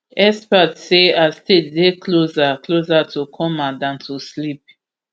expert say her state dey closer closer to coma dan to sleep